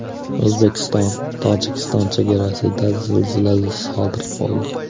O‘zbekiston-Tojikiston chegarasida zilzila sodir bo‘ldi.